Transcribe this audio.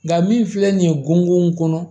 Nka min filɛ nin ye gungɔn kɔnɔ